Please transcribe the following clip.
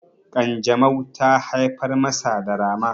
kanjamau ta haifar masa da rama